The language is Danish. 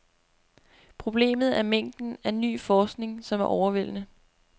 Problemet er mængden af ny forskning, som er overvældende.